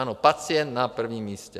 Ano, pacient na prvním místě.